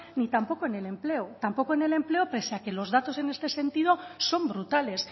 ni tampoco en el empleo tampoco en el empleo pese a que los datos en este sentido son brutales